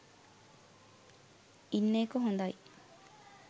ඉන්න එක හොඳයි.